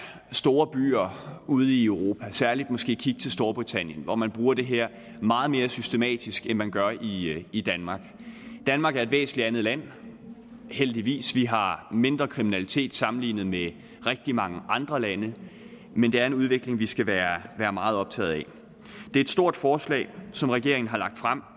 store byer ude i europa særlig skal måske kigge til storbritannien hvor man bruger det her meget mere systematisk end man gør i i danmark danmark er et væsentlig andet land heldigvis vi har mindre kriminalitet sammenlignet med rigtig mange andre lande men det er en udvikling vi skal være meget optaget af det er et stort forslag som regeringen har lagt frem